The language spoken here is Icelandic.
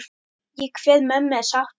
Ég kveð mömmu sáttur.